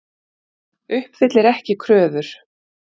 Uppfyllir ekki kröfur